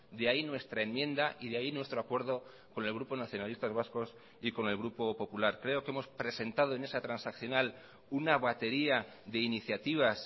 de ahí nuestra enmienda y de ahí nuestro acuerdo con el grupo nacionalistas vascos y con el grupo popular creo que hemos presentado en esa transaccional una batería de iniciativas